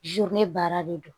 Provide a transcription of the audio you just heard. ne baara de don